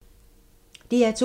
DR2